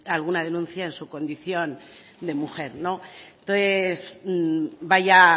alguna denuncia en su condición de mujer entonces vaya